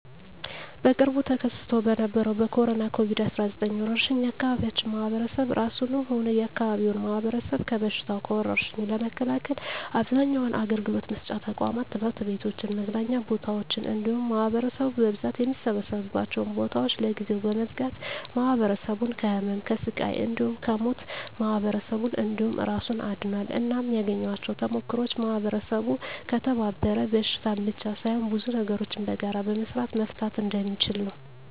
በቅርቡ ተከስቶ በነበረዉ በኮሮና(ኮቪድ 19) ወረርሽ የአካባቢያችን ማህበረሰብ እራሱንም ሆነ የአካባቢውን ማህበረሰብ ከበሽታዉ (ከወርሽኙ) ለመከላከል አብዛኛዉን አገልግሎት መስጫ ተቋማት(ትምህርት ቤቶችን፣ መዝናኛ ቦታወችን እንዲሁም ማህበረሰቡ በብዛት የሚሰበሰብባቸዉን ቦታወች) ለጊዜዉ በመዝጋት ማህበረሰቡን ከህመም፣ ከስቃይ እንዲሁም ከሞት ማህበረሰብን እንዲሁም እራሱን አድኗል። እናም ያገኘኋቸዉ ተሞክሮወች ማህበረሰቡ ከተባበረ በሽታን ብቻ ሳይሆን ብዙ ነገሮችን በጋራ በመስራት መፍታት እንደሚችል ነዉ።